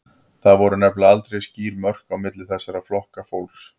Það voru nefnilega aldrei skýr mörk á milli þessara flokka fólks.